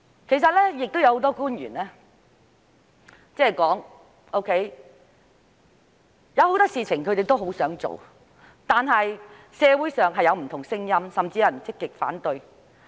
其實，多位官員曾表示有很多事情他們也想做，但社會上有不同聲音，甚至有人積極反對。